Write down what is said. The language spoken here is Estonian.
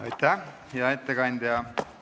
Aitäh, hea ettekandja!